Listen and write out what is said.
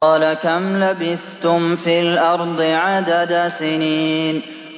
قَالَ كَمْ لَبِثْتُمْ فِي الْأَرْضِ عَدَدَ سِنِينَ